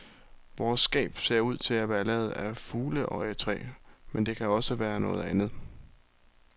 Vores skab ser ud til at være lavet af fugleøjetræ, men det kan også være noget andet.